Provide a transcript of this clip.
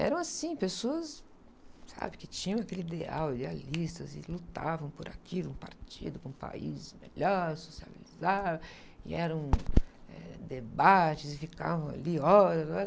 Eram assim, pessoas, sabe, que tinham aquele ideal, idealistas, e lutavam por aquilo, um partido, um país melhor, socializaram, e eram eh debates, e ficavam ali horas e horas.